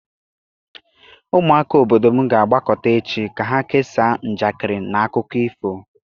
Ụmụaka obodo m ga-agbakọta echi ka ha kesaa njakịrị na akụkọ ifo.